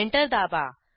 enter दाबा